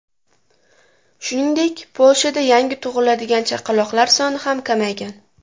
Shuningdek, Polshada yangi tug‘iladigan chaqaloqlar soni ham kamaygan.